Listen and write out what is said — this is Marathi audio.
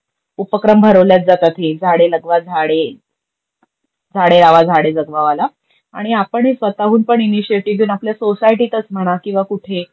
उपक्रम भरवल्याच जातेत ही. झाडे लगवा, झाडे लावा, झाडे जगवा वाला. आणि आपण ही स्वतःहून पण इनीशेटीव आपल्या सोसायटीतच म्हणा किंवा कुठे